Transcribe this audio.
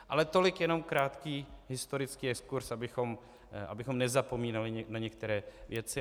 Ale tolik jenom krátký historický exkurz, abychom nezapomínali na některé věci.